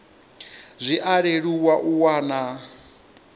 zwi a leluwa u wana